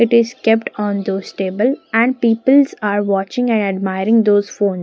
it is kept on those table and peoples are watching and admiring those phone.